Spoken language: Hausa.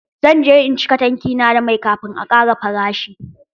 Zan je in cika tanki na da mai kafin a ƙara farashin.